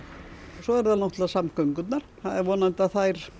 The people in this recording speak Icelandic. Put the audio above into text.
svo eru það náttúrulega samgöngurnar það er vonandi að þær